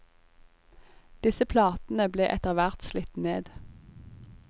Disse platene ble etterhvert slitt ned.